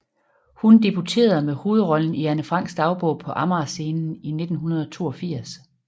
Hun debuterede med hovedrollen i Anne Franks dagbog på Amager Scenen i 1982